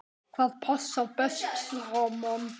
Hvað passar best saman?